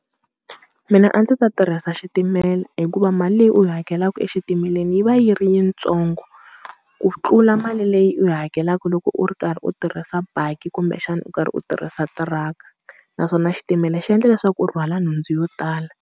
Mina a ndzi ta tirhisa xitimela, hikuva mali leyi u yi hakelaka exitimeleni yi va yi ri yitsongo ku tlula mali leyi u yi hakelaka loko u ri karhi u tirhisa baki kumbexana u karhi u tirhisa tiraka. Naswona xitimela xi endla leswaku u rhwala nhundzu yo tala.